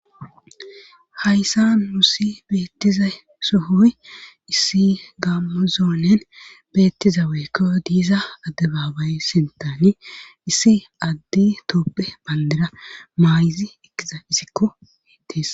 Hayssa mussi beettiza sohoy issi gamozoonen beettiza weekko diiza adde baabay sentani issi addi tooppe bandera maayizi ekkiza issikko beetees.